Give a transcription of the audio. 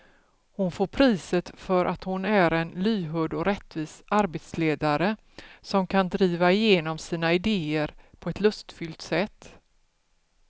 Hon får priset för att hon är en lyhörd och rättvis arbetsledare som kan driva igenom sina idéer på ett lustfyllt sätt.